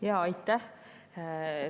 Jaa, aitäh!